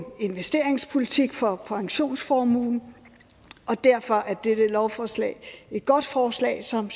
investeringspolitik for pensionsformuen og derfor er dette lovforslag et godt forslag som